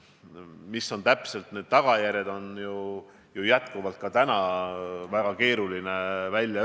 Mis täpselt on selle viiruse tagajärjed, on täna väga keeruline öelda.